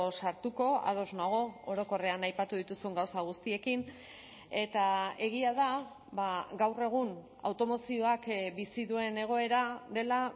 sartuko ados nago orokorrean aipatu dituzun gauza guztiekin eta egia da gaur egun automozioak bizi duen egoera dela